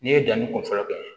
N'i ye danni kun fɔlɔ kɛ